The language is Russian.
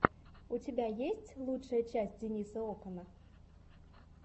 у тебя есть лучшая часть дениса окана